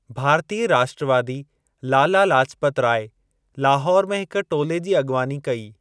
भारतीय राष्ट्रवादी लाला लाजपत राय लाहौर में हिक टोले जी अॻिवानी कई।